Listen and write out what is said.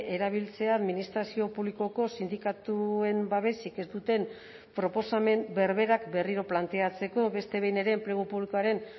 erabiltzea administrazio publikoko sindikatuen babesik ez duten proposamen berberak berriro planteatzeko beste behin ere enplegu publikoaren